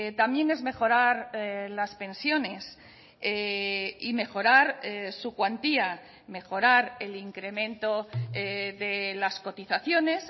también es mejorar las pensiones y mejorar su cuantía mejorar el incremento de las cotizaciones